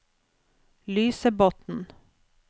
Lysebotn